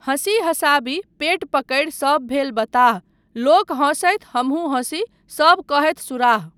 हँसी हँसाबी, पेट पकड़ि सब भेल बताह। लोक हँसथि, हमहूँ हँसी, सब कहथि सुराह।